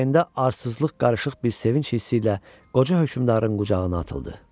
Ürəyində arsızlıq qarışıq bir sevinc hissi ilə qoca hökmdarın qucağına atıldı.